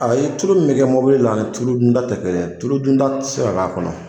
Ayi tulu mun bɛ kɛ mɔbili la ani tulu dunda tɛ kelen tulu dunda tɛ se k'a kɔnɔ.